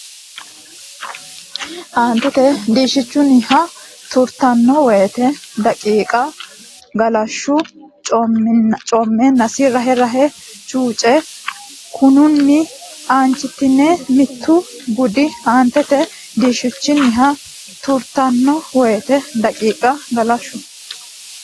Aantete diishshichunniha tirtanno woyte daqiiqa galashshu coommeennasi rahe rahe chuuce Kunninni aanchitine mittu gudi Aantete diishshichunniha tirtanno woyte daqiiqa galashshu.